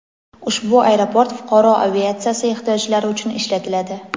ushbu aeroport fuqaro aviatsiyasi ehtiyojlari uchun ishlatiladi.